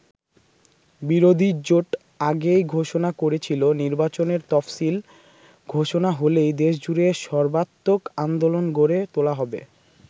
বিরোধী জোট আগেই ঘোষণা করেছিল, নির্বাচনের তফসিল ঘোষণা হলেই দেশজুড়ে সর্বাত্মক আন্দোলন গড়ে তোলা হবে।